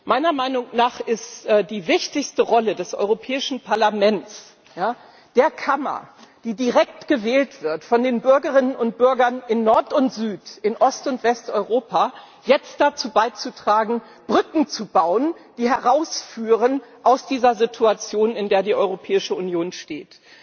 Meiner Meinung nach ist die wichtigste Rolle des Europäischen Parlaments, der Kammer, die direkt gewählt wird von den Bürgerinnen und Bürgern in Nord und Süd in Ost und Westeuropa, jetzt dazu beizutragen, Brücken zu bauen, die herausführen aus dieser Situation, in der die Europäische Union steht.